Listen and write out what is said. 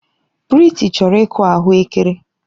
Prịty chọrọ ịkụ ahụekere.